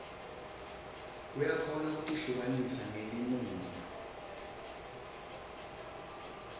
uyakhona kutihlukanisa ngelimuva